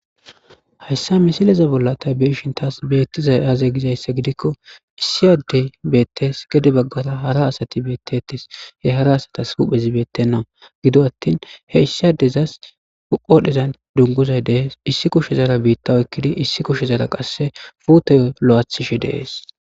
hayssa misileza bolla tabeeshin taas beettiza aaze gizaysse gidikko issi addey beettees gede baggata hara asati beettettes he hara asatas huphezibeettenna gido attin he issi addezas uqodhezan dunguzay dehes issi kushezara biitta oykkidi issi kushezara qasse fuutey lo7aathishe deees